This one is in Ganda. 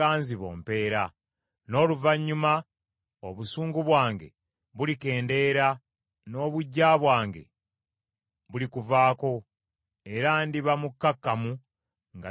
N’oluvannyuma obusungu bwange bulikendeera, n’obuggya bwange bulikuvaako, era ndiba mukkakkamu, nga sirina busungu.